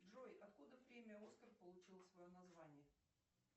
джой откуда премия оскар получила свое название